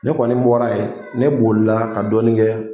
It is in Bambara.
Ne kɔni bɔra yen ne bolila ka dɔɔnin kɛ.